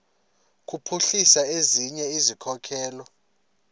kuphuhlisa ezinye izikhokelo